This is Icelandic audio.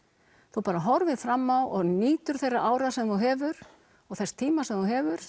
þú bara horfir fram og nýtur þeirra ára sem þú hefur og þess tíma sem þú hefur